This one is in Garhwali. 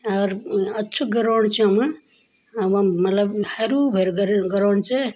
अर उन अच्छू ग्रोड चो यम अर वम मलब हेरु भेरू गरिड़ ग्राउंड च।